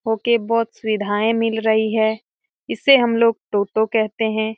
हो के बोहोत सुविधाएं मिल रही है। इसे हम लोग टोटो कहते हैं।